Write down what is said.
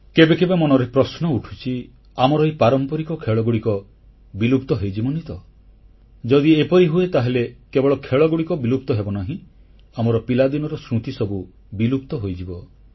କେବେ କେବେ ମନରେ ପ୍ରଶ୍ନ ଉଠୁଛି ଆମର ଏହି ପାରମ୍ପରିକ ଖେଳଗୁଡ଼ିକ ବିଲୁପ୍ତ ହୋଇଯିବନି ତ ଯଦି ଏପରି ହୁଏ ତାହେଲେ କେବଳ ଖେଳଗୁଡ଼ିକ ବିଲୁପ୍ତ ହେବନାହିଁ ଆମର ପିଲାଦିନର ସ୍ମୃତି ସବୁ ବିଲୁପ୍ତ ହୋଇଯିବ